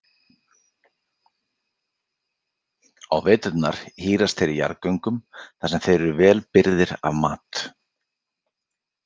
Á veturna hírast þeir í jarðgöngum þar sem þeir eru vel birgir af mat.